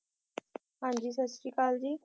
ਹਾਂਜੀ ਸਤਿ ਸ਼੍ਰੀ ਅਕਾਲ ਜੀ